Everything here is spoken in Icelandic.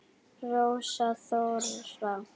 Rósa Þóra.